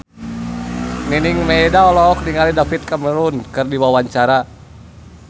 Nining Meida olohok ningali David Cameron keur diwawancara